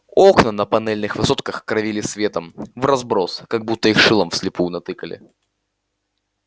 окна на панельных высотках кровили светом вразброс как будто их шилом вслепую натыкали